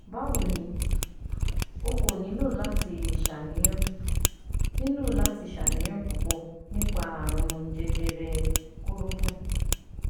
Bawo ni, O ko nilo lati ṣàníyàn nilo lati ṣàníyàn pupọ nipa àrùn jẹjẹrẹ koropon